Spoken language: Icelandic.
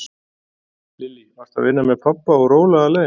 Lillý: Varstu að vinna með pabba og róla alein?